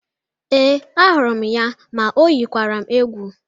Ee, ahụrụ m ya ma ọ yikwara m egwu